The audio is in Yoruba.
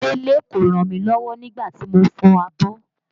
Délé kò ràn mí lọ́wọ́ nígbà tí mo ń fọ abọ́